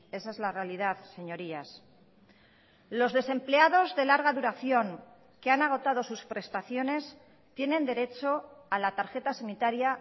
esa es la realidad señorías los desempleados de larga duración que han agotado sus prestaciones tienen derecho a la tarjeta sanitaria